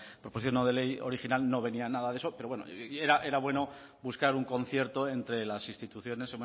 proposición no de ley original no venía nada de eso pero bueno era bueno buscar un concierto entre las instituciones